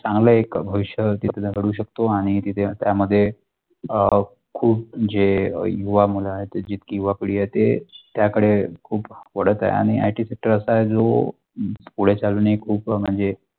चांगला एक भविष्य तिकडे करू शकतो आणि तिथे त्या मध्ये अ खूप जे युवा मुला आहे जितकी युवा पिढी ते त्या कडे खूप बोलत आहे आणि आता IT sector अशा आहे जो पुढे चलनी खूप म्णजे.